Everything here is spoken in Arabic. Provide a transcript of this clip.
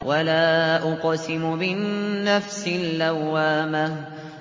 وَلَا أُقْسِمُ بِالنَّفْسِ اللَّوَّامَةِ